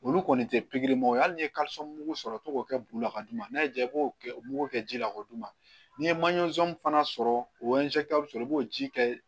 Olu kɔni tɛ pikiri ma ye hali ni ye mugu sɔrɔ k'o kɛ bulu la ka d'u ma n'a y'i ja i b'o kɛ o mugu kɛ ji la k'o d'u ma n'i ye manzin fana sɔrɔ o sɔrɔ i b'o ji kɛ